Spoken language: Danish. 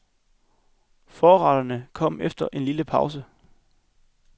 Forretterne kom efter en lille pause.